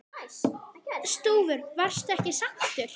Stúfur: Varstu ekki sáttur?